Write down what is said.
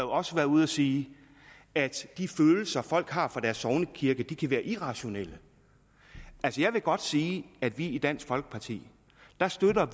også været ude at sige at de følelser folk har for deres sognekirke kan være irrationelle altså jeg vil godt sige at vi i dansk folkeparti støtter